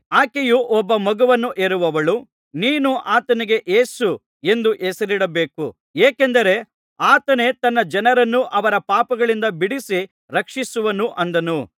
ಆಕೆಯು ಒಬ್ಬ ಮಗನನ್ನು ಹೆರುವಳು ನೀನು ಆತನಿಗೆ ಯೇಸು ಎಂದು ಹೆಸರಿಡಬೇಕು ಏಕೆಂದರೆ ಆತನೇ ತನ್ನ ಜನರನ್ನು ಅವರ ಪಾಪಗಳಿಂದ ಬಿಡಿಸಿ ರಕ್ಷಿಸುವನು ಅಂದನು